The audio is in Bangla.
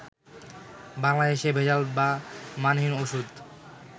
বাংলাদেশে ভেজাল বা মানহীন ওষুধ